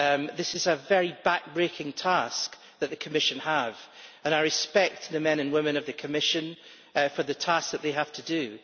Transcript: This is a very backbreaking task that the Commission has, and I respect the men and women of the Commission for the task that they have to do.